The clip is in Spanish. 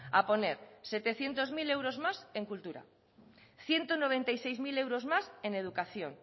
a poner setecientos mil más en cultura ciento noventa y seis mil euros más en educación